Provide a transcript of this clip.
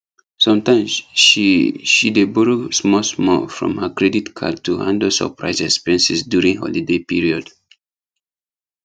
sometimes she she dey borrow smallsmall from her credit card to handle surprise expenses during holiday period